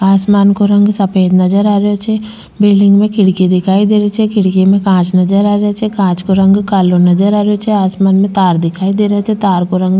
आसमान को रंग सफ़ेद नजर आ रेहो छे बिलडिंग में खिड़की दिखाई दे री छे खिड़की में कांच नजर आ रेहा छे कांच को रंग कालो नज़र आ रेहो छे आसमान में तार नजर आरेहा छे तार को रंग --